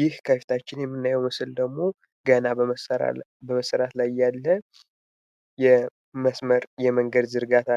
ይህ ከፊታችን የምናየው ምስል ደሞ የመስመር መንገድ ዝርጋታ